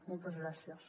moltes gràcies